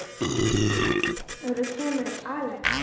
Hvenær kemur Axel?